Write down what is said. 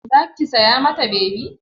Za ki saya ma ta bebi?